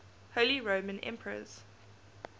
holy roman emperors